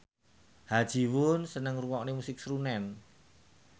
Ha Ji Won seneng ngrungokne musik srunen